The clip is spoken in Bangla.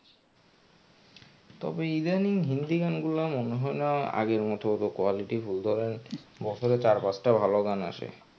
তবে ইদানিং হিন্দি গানগুলা মনে হয় না আগের মতো অতো quality full ধরেন বছরে চার পাঁচটা ভালো গান আসে.